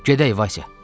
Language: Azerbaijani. Gedək, Vaysa.